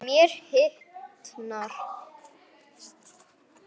Mér hitnar.